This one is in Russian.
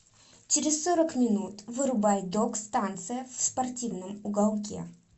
через сорок минут вырубай док станция в спортивном уголке